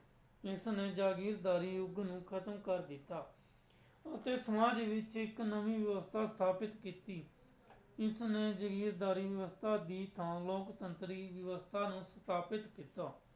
ਇਸ ਨੇ ਜਾਗੀਰਦਾਰੀ ਯੁੱਗ ਨੂੰ ਖ਼ਤਮ ਕਰ ਦਿੱਤਾ ਅਤੇ ਸਮਾਜ ਵਿੱਚ ਇੱਕ ਨਵੀਂ ਵਿਵਸਥਾ ਸਥਾਪਿਤ ਕੀਤੀ, ਇਸ ਨੇ ਜਾਗੀਰਦਾਰੀ ਵਿਵਸਥਾ ਦੀ ਤਾਂ ਲੋਕਤੰਤਰੀ ਵਿਵਸਥਾ ਨੂੰ ਸਥਾਪਿਤ ਕੀਤਾ।